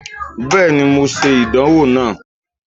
Bẹẹni, Mo ṣe idanwo naa